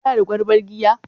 Kana da kwalban giya?